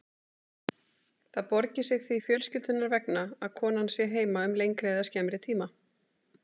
Það borgi sig því fjölskyldunnar vegna að konan sé heima um lengri eða skemmri tíma.